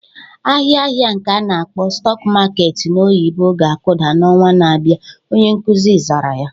Ahịa ahịa nke a na-akpọ "stock market" n'oyibo ga-akụda n'ọnwa na-abịa" Onye nkuzi zara ya